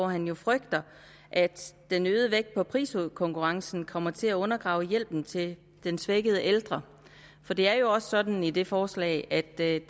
han frygter at den øgede vægt på priskonkurrencen kommer til at undergrave hjælpen til den svækkede ældre for det er jo også sådan i det forslag at det er